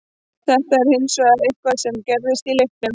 Þetta er hins vegar eitthvað sem gerðist í leiknum.